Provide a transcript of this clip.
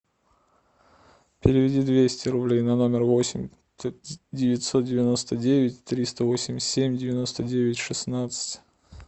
переведи двести рублей на номер восемь девятьсот девяносто девять триста восемьдесят семь девяносто девять шестнадцать